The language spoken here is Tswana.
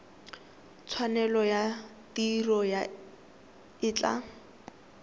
tshwanelo ya tiro e tla